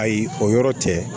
Ayi o yɔrɔ tɛ